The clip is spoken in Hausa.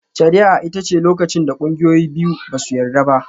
Shari'a ita ce lokacin da ƙungiyoyi biyu ba su yarda ba.